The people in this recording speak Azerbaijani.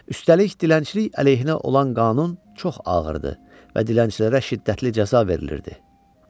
Üstəlik, dilənçilik əleyhinə olan qanun çox ağırdı və dilənçilərə şiddətli cəza verilirdi.